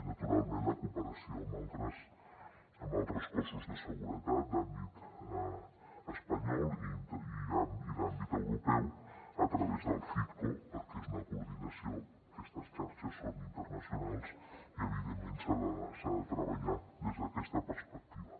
i naturalment la cooperació amb altres cossos de seguretat d’àmbit espanyol i d’àmbit europeu a través del citco perquè és una coordinació aquestes xarxes són internacionals i evidentment s’ha de treballar des d’aquesta perspectiva